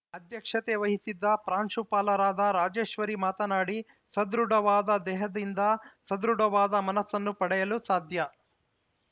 ಅಧ್ಯಕ್ಷತೆ ವಹಿಸಿದ್ದ ಪ್ರಾಂಶುಪಾಲರಾದ ರಾಜೇಶ್ವರಿ ಮಾತನಾಡಿ ಸದೃಢವಾದ ದೇಹದಿಂದ ಸದೃಢವಾದ ಮನಸ್ಸನ್ನು ಪಡೆಯಲು ಸಾಧ್ಯ